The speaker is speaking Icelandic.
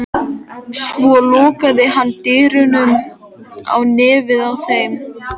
Svo lokaði hann dyrunum á nefið á þeim.